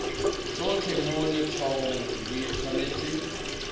tsotlhe mo letshwaong di tshwanetse